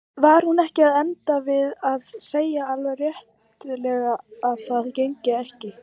Var hún ekki að enda við að segja alveg réttilega að það gengi ekki?